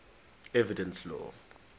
evidence law